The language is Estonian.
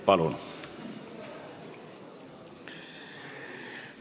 Palun!